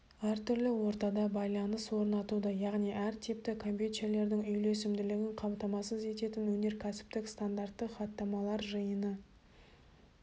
әртүрлі ортада байланыс орнатуды яғни әр типті компьютерлердің үйлесімділігін қамтамасыз ететін өнеркәсіптік стандартты хаттамалар жиыны